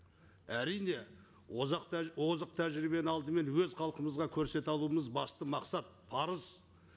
әрине озық тәжірибені алдымен өз халқымызға көрсете алуымыз басты мақсат парыз